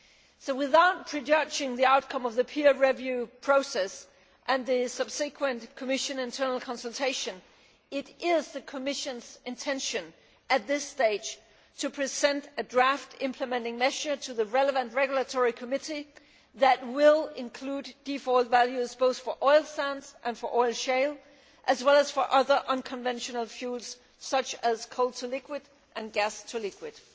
So without prejudging the outcome of the peer review process and the subsequent Commission internal consultation, it is the Commission's intention at this stage to present a draft implementing measure to the relevant regulatory committee that will include default values both for oil sands and for oil shale, as well as for other unconventional fuels such as coal to liquids and gas to liquids.